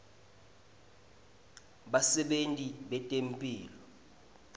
basebenti betemphilo